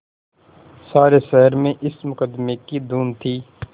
सारे शहर में इस मुकदमें की धूम थी